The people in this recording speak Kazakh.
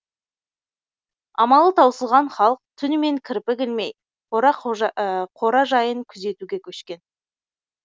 амалы таусылған халық түнімен кірпік ілмей қора жайын күзетуге көшкен